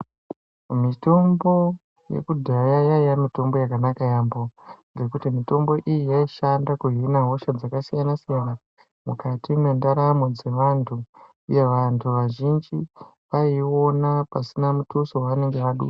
Mitombo yekudhaya yaiya mitombo yakanaka yaampho, ngekuti mitombo iyi yaishanda kuhina hosha dzakasiyana-siyana ,mukati mwendaramo dzevantu, uye vantu vazhinji vaiiona pasina muthuso wavanenge vadusa..